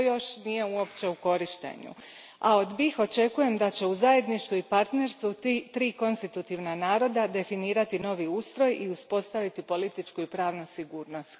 To još nije uopće u korištenju, a od BiH očekujem da će u zajedništvu i partnerstvu triju konstitutivnih naroda definirati novi ustroj i uspostaviti političku i pravnu sigurnost.